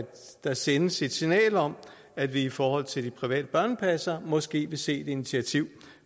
der sendes et signal om at vi i forhold til de private børnepassere måske vil se et initiativ